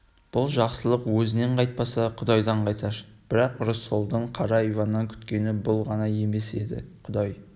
бұл жақсылық өзінен қайтпаса құдайдан қайтар бірақ рысқұлдың қара иваннан күткені бұл ғана емес еді құдай